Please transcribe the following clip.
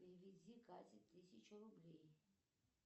переведи кате тысячу рублей